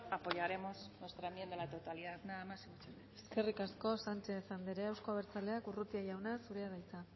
apoyaremos nuestra enmienda a la totalidad nada más y muchas gracias eskerrik asko sánchez anderea euzko abertzaleak urrutia jauna zurea da hitza